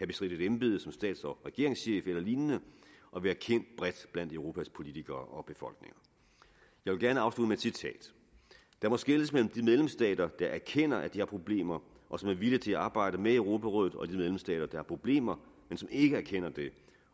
bestridt et embede som stats og regeringschef eller lignende og være kendt bredt blandt europas politikere og befolkninger jeg vil gerne afslutte med et citat der må skelnes mellem de medlemsstater der erkender at de har problemer og som er villige til at arbejde med europarådet og de medlemsstater der har problemer men som ikke erkender det